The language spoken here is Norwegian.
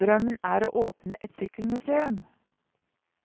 Drømmen er å åpne et sykkelmuseum.